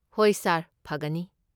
ꯍꯣꯏ ꯁꯥꯔ, ꯐꯒꯅꯤ꯫